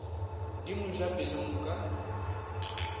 di mo ja pelong ka